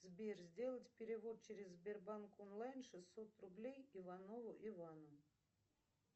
сбер сделать перевод через сбербанк онлайн шестьсот рублей иванову ивану